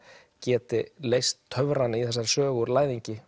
geti leyst töfrana í þessari sögu úr læðingi